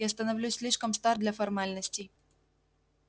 я становлюсь слишком стар для формальностей